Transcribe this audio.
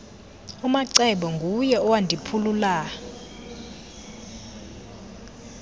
umacebo nguye owandiphulula